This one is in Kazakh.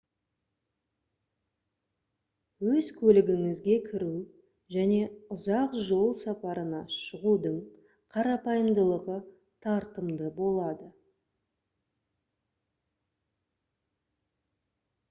өз көлігіңізге кіру және ұзақ жол сапарына шығудың қарапайымдылығы тартымды болады